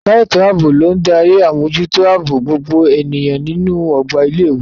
Ẹ̀ka ètò ààbò ló ń darí àmójútó ààbò gbogbo ènìyàn nínú ọgbà ilé ìwé.